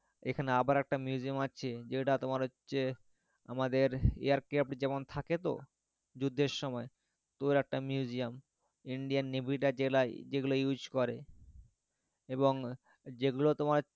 এখানে আবার একটা museum আছে যেটা তোমার হচ্ছে আমাদের air craft যেমন থাকে তো যুদ্ধের সময় তো ওরকম একটা museum indian navy রা যেগুলো use করে এবং যেগুলো তোমার,